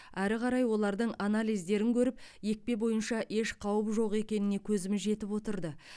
әрі қарай олардың анализдерін көріп екпе бойынша еш қауіп жоқ екеніне көзіміз жетіп отырды